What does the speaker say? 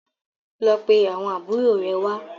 Lọ pé àwọn àbúrò rẹ wá.